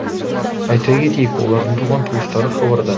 айта кетейік олардың туған туыстары хабардар